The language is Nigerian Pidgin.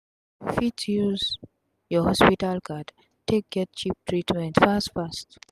u fit use ur hospital card take get cheap treatment fast fast